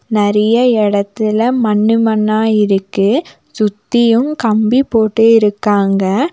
நெறையா எடத்துல மண்ணு மண்ணா இருக்கு சுத்தியு கம்பி போட்டு இருக்காங்க.